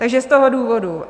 Takže z toho důvodu.